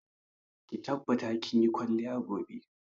Ki tabbata kin yi kwalliya gobe!